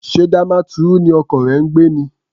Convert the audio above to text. Ṣé Damaturu ni ọkọ rẹ ń gbé ni?